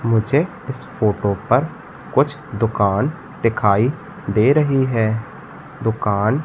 मुझे इस फोटो पर कुछ दुकान दिखाई दे रही है दुकान--